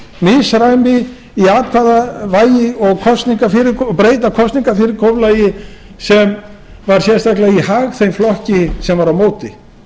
misræmi í atkvæðavægi og breyta kosningafyrirkomulagi sem var sérstaklega í hag þeim flokki sem var á móti